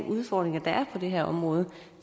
udfordringer der er på det her område